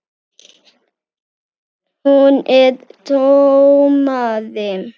Hún er dómari.